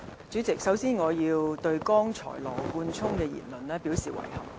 主席，首先，我要對羅冠聰議員剛才的言論表示遺憾。